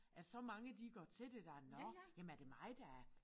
At så mange de går til det der nåh jamen er det mig der er